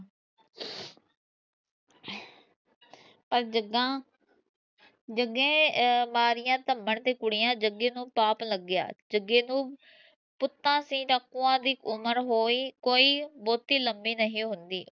ਪਰ ਜਗਾ ਜਗੇ ਅਹ ਮਾਰੀਆਂ ਤੇ ਕੁੜੀਆਂ ਜਗੇ ਨੂੰ ਪਾਪ ਲਗਿਆ ਜਗੇ ਨੂੰ ਪਤਾ ਸੀ ਡਾਕੂਆਂ ਦੀ ਉਮਰ ਹੋਈ ਕੋਈ ਬਹੁਤੇ ਲੰਬੀ ਨਹੀਂ ਹੁੰਦੀ